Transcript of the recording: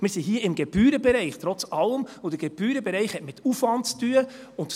Wir sind hier im Gebührenbereich, trotz allem, und der Gebührenbereich hat mit Aufwand zu tun.